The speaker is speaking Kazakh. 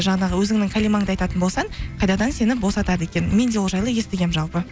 жаңағы өзіңнің кәлимаңды айтатын болсаң қайтадан сені босатады екен мен де ол жайлы естігенмін жалпы